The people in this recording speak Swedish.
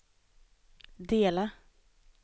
dela